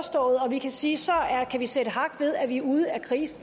vi kan sige så kan vi sætte hak ved at vi er ude af krisen